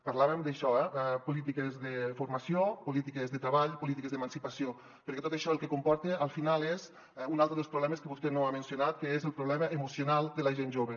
parlàvem d’això eh de po·lítiques de formació polítiques de treball polítiques d’emancipació perquè tot això el que comporta al final és un altre dels problemes que vostè no ha mencionat que és el problema emocional de la gent jove